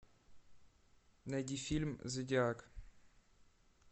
найди фильм зодиак